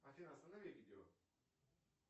афина останови видео